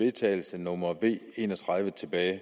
vedtagelse nummer v en og tredive tilbage i